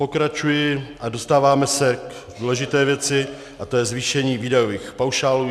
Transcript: Pokračuji a dostáváme se k důležité věci a to je zvýšení výdajových paušálů.